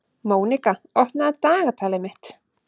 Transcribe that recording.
Mónika, opnaðu dagatalið mitt.